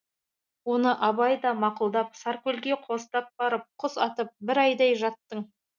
оны абай да мақұлдап саркөлге қостап барып құс атып бір айдай жаттың